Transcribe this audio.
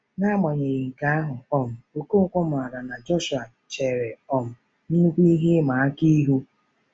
N'agbanyeghị nke ahụ, um Okonkwo maara na Joshua chere um nnukwu ihe ịma aka ihu.